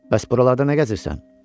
Bəs buralarda nə gəzirsən?